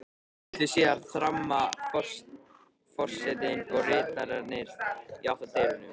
Litlu síðar þramma forsetinn og ritararnir í átt að dyrunum.